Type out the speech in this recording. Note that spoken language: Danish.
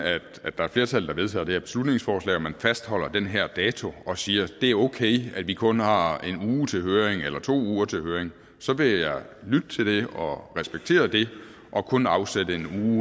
at der er et flertal der vedtager det her beslutningsforslag og man fastholder den her dato og siger at det er okay at vi kun har en uge til høring eller to uger til høring så vil jeg lytte til det og respektere det og kun afsætte en